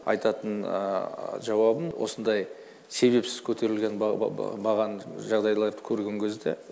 айтатын жауабым осындай себепсіз көтерілген бағаны жағдайларды көрген кезде